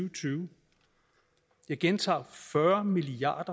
og tyve jeg gentager fyrre milliard